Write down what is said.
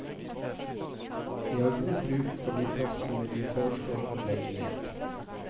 Vi har god bruk for de plassene vi foreslår å legge ned.